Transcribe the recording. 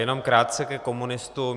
Jenom krátce ke komunistům.